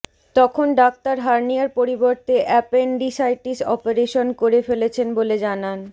তখন ডাক্তার হার্নিয়ার পরিবর্তে অ্যাপেন্ডিসাইটিস অপারেশন করে ফেলেছেন বলে জানান